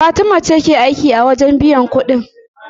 Fatima ce ke aiki a wajen biyan kuɗin.